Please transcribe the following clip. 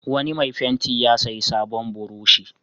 Wani mai fenti ya sayi sabon burushi.